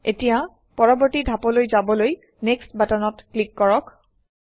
এতিয়া পৰৱৰ্তী ধাপলৈ যাবলৈ নেক্সট বাটনত ক্লিক কৰক